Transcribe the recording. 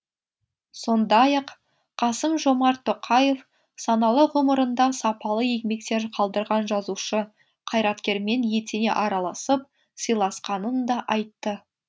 сондай ақ қасым жомарт тоқаев саналы ғұмырында сапалы еңбектер қалдырған жазушы қайраткермен етене араласып сыйласқанын да айтты